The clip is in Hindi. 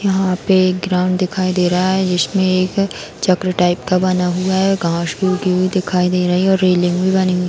यहाँ पे एक ग्राउंड दिखाई दे रहा है जिसमे एक चक्र टाइप का बना हुआ है | घांस भी उगी हुई दिखाई दे रही है और रेलिंग भी बनी हुई --